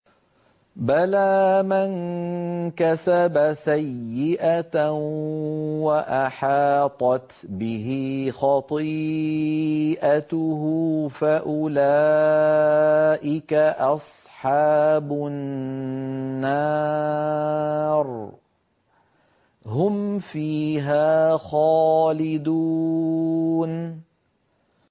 بَلَىٰ مَن كَسَبَ سَيِّئَةً وَأَحَاطَتْ بِهِ خَطِيئَتُهُ فَأُولَٰئِكَ أَصْحَابُ النَّارِ ۖ هُمْ فِيهَا خَالِدُونَ